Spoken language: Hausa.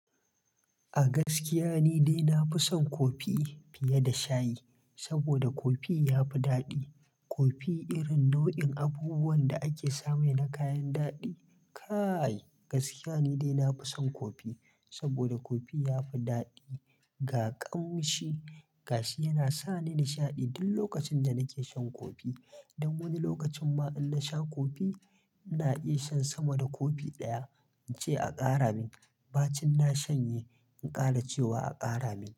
A gaskiya ni dai na fi son kofi fiye da shayi saboda kofi ya fi daɗi. Kofi irin na wayan abubuwan da ake samu na kayan dadi kai! Gaskiya ni dai na fi son kofi, soboda kofi ya fi dadi ga ƙaushi, gashi yana sa ni nishaɗi duk lokacin da nake shan kofi. Dan wani lokacin ma in na sha kofi, ina iya shan sama da kopi ɗaya in ce a ƙara min. Bar cin na shanye in ƙara cewa a ƙara min.